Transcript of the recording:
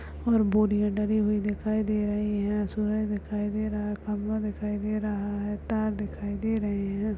और बोरियां डली हुई दिखाई दे रही हैं सूरज दिखाई दे रहा है खम्बा दिखाई दे रहा है तार दिखाई दे रहे हैं।